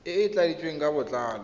e e tladitsweng ka botlalo